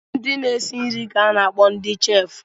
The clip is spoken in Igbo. Ndị na-esi nri ka a na-akpọ ndị chef